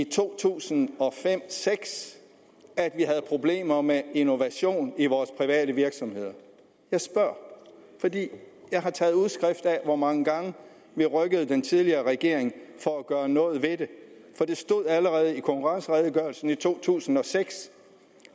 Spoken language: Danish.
to tusind og seks at vi havde problemer med innovation i vores private virksomheder jeg spørger fordi jeg har taget udskrift af hvor mange gange vi rykkede den tidligere regering for at gøre noget ved det for der stod allerede i konkurrenceredegørelsen fra to tusind og seks